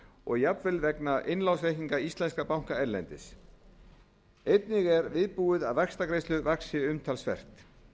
og jafnvel vegna innlánsreikninga íslenskra banka erlendis einnig er viðbúið að vaxtagreiðslur vaxi umtalsvert